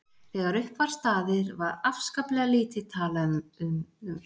Þegar upp var staðið var afskaplega lítið talað um dráttinn sjálfan og komandi heimsmeistaramót.